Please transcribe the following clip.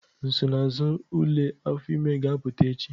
Nsonaazụ ule afọ ime ga-apụta echi.